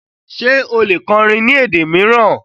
Ṣe o le kọrìn ni èdè miiran?